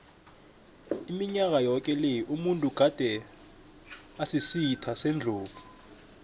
iminyaka yoke le umuntu gade asisitha sendlovu